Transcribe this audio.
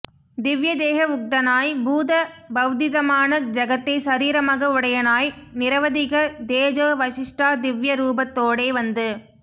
திவ்ய தேஹ உக்தனாய் பூத பவ்திதமான ஜகத்தை சரீரமாக உடையனாய் நிரவதிக தேஜோ விசிஷ்டா திவ்ய ரூபத்தோடே வந்து